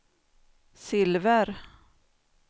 silver